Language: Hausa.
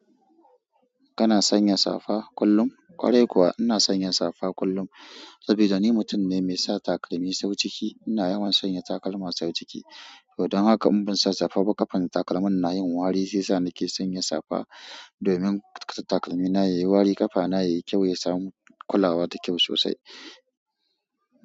Kana sanya safa kullum? Ƙwarai kuwa ina sanya safa kullum, saboda ni mutum ne mai sa takalmi sau ciki. Ina yawan sanya takalma sau ciki. Don haka in ban sa safa ba, ƙafar takalmin na yin wari shi yasa na ke sanya safa domin takalmina yayi wari, ƙafana yayi kyau, ya samu kulawa da kyau sosai.